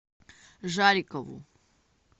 жарикову